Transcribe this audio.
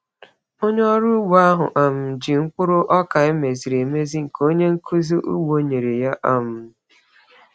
Onye ọrụ ugbo ahụ um ji mkpụrụ ọka emeziri emezi nke onye nkuzi ugbo nyere ya. um